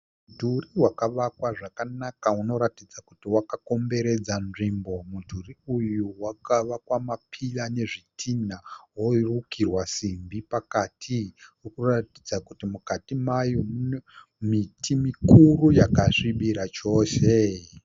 Mudhuri wakavakwa zvakanaka unoratidza kuti wakakomberedza nzvimbo. Mudhuri uyu wakavakwa mapira nezvitinha worukirwa simbi pakati. Uri kuratidza kuti mukati mayo mune miti mikuru yakasvibira chose.